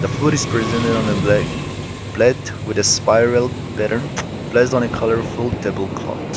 the food is present on the black blath with spiral pattern on a colourful table cloth.